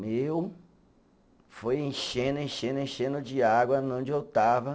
Meu, foi enchendo, enchendo, enchendo de água onde eu estava.